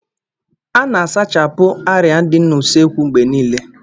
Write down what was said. Ana-asachapụ arịa dị n'usekwu mgbe niile.